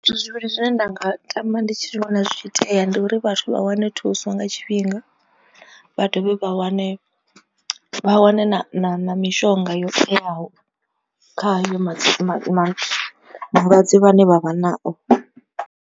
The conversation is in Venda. Zwithu zwivhili zwine nda nga tama ndi tshi vhona zwi tshi itea ndi uri vhathu vha wane thuso nga tshifhinga. Vha dovhe vha wane vha wane na mishonga yo teaho kha hayo ma malwadze vhane vha vha nao.